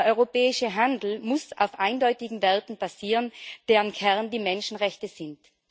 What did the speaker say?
Der europäische Handel muss auf eindeutigen Werten basieren, deren Kern die Menschenrechte sind.